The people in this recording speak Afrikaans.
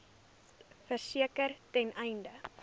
verseker ten einde